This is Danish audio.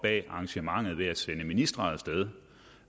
arrangementet ved at sende ministre af sted